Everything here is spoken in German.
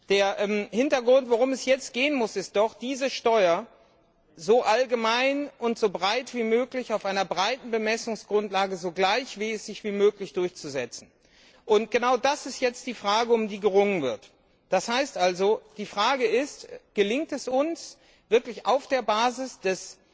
Der Hintergrund, worum es jetzt gehen muss, ist doch, diese Steuer so allgemein und so breit wie möglich auf einer breiten Bemessungsgrundlage so gleichmäßig wie möglich durchzusetzen. Genau das ist jetzt die Frage, um die gerungen wird. Das heißt also, die Frage ist Gelingt es uns, auf der Basis